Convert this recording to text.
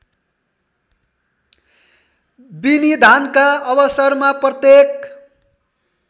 विनिधानका अवसरमा प्रत्येक